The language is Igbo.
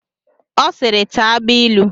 Ọ siiri, taa agbailu!